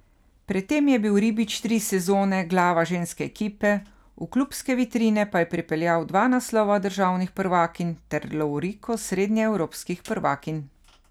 Pred tem je bil Ribič tri sezone glava ženske ekipe, v klubske vitrine pa je pripeljal dva naslova državnih prvakinj ter lovoriko srednjeevropskih prvakinj.